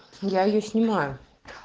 я её снимаю